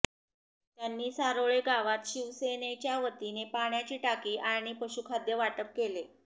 त्यांनी सारोळे गावात शिवसेनेच्यावतीने पाण्याची टाकी आणि पशुखाद्य वाटप केले